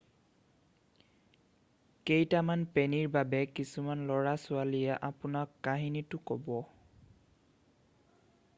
কেইটামান পেনীৰ বাবে কিছুমান ল'ৰা-ছোৱালীয়ে আপোনাক কাহিনীটো ক'ব